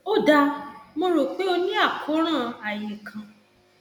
ó dáa mo rò pé o ní àkóràn ààyé kan